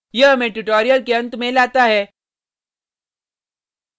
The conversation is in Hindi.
यह हमें tutorial के अंत में लाता है